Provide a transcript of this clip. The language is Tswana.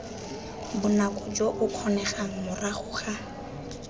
bonako jo bokgonegang morago ga